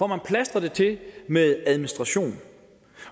man plastrer det til med administration